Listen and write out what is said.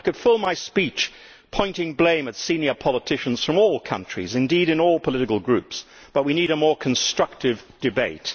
I could fill my speech pointing blame at senior politicians from all countries, indeed in all political groups, but we need a more constructive debate.